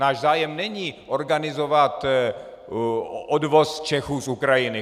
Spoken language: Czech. Náš zájem není organizovat odvoz Čechů z Ukrajiny.